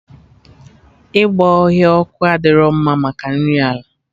Ịgba ọhịa ọkụ adịro mma maka nri ala